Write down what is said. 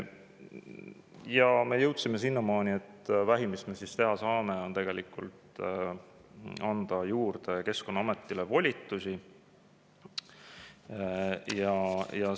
Ja me jõudsime sinnamaani, et vähim, mis me teha saame, on tegelikult anda Keskkonnaametile volitusi juurde.